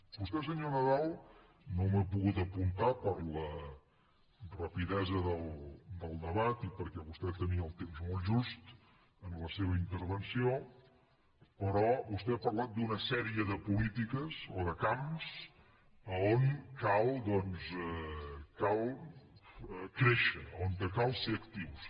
vostè senyor nadal no m’ho he pogut apuntar per la rapidesa del debat i perquè vostè tenia el temps molt just en la seva intervenció ha parlat d’una sèrie de polítiques o de camps a on cal doncs créixer a on cal ser actius